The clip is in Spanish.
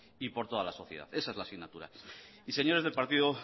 y por toda la sociedad esa es la asignatura y señores del partido